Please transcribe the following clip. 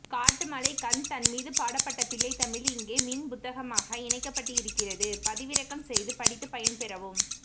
காட்டுமலைக்கந்தன்மீது பாடப்பட்ட பிள்ளைத்தமிழ் இங்கே மின் புத்தகமாக இணைக்கப்பட்டிருக்கிறது பதிவிறக்கம்செய்து படித்து பயன்பெறவும்